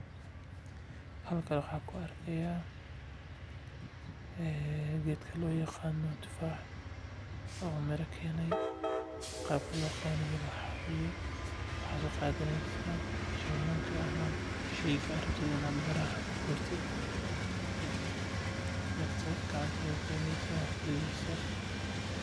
Halkan waxaan ku arki haaya geedka loo yaqaano tufaax oo mira keenay qabka loo guro waxaa waye waxaad soo qadeysa jawaan kadib waad kurideysa.